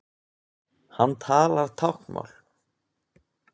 Hann talar táknmál.